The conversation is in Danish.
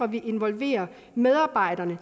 vi involverer medarbejderne